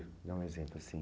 Dá um exemplo, assim.